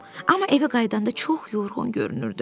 Amma evə qayıdanda çox yorğun görünürdü.